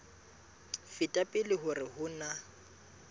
feta pele hore ho na